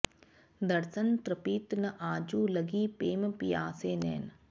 दरसन तृपित न आजु लगि पेम पिआसे नैन